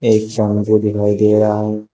एक दिखाई दे रहा है।